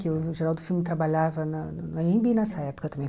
Que o Geraldo Filme trabalhava na no Anhembi nessa época também.